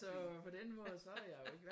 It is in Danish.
Så på den måde så er jeg jo ikke